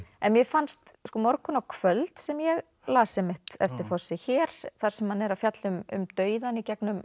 mér fannst morgunn og kvöld sem ég las einmitt eftir Fosse hér þar sem hann er að fjalla um dauðann í gegnum